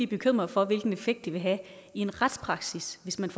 bekymrede for hvilken effekt det vil have i en retspraksis hvis man